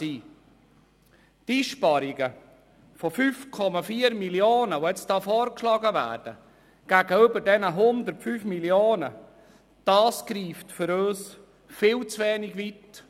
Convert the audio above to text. Die Einsparungen von 5,4 Mio. Franken, die jetzt gegenüber den 105 Mio. Franken vorgeschlagen werden, greifen für uns viel zu wenig weit.